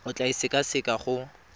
o tla e sekaseka go